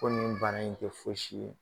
Ko nin baara in tɛ fosi ye.